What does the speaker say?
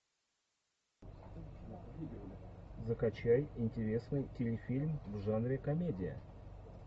закачай интересный телефильм в жанре комедия